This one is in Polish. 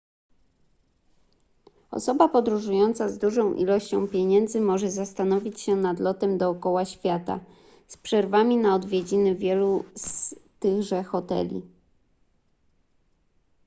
osoba podróżująca z dużą ilością pieniędzy może zastanowić się nad lotem dookoła świata z przerwami na odwiedziny wielu z tychże hoteli